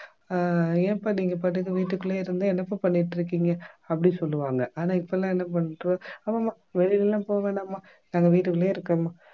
அஹ் ஏன்பா நீங்க பாட்டுக்கு வீட்டுக்குள்ளேயே இருந்து என்னப்பா பண்ணிட்டிருக்கீங்க அப்படி சொல்லுவாங்க ஆனா இப்பெல்லாம் என்ன பண்றோம் ஆமாம் ஆமாம் வெளியில எல்லாம் போக வேண்டாம்மா நாங்க வீட்டுக்குள்ளேயே இருப்கோம்மா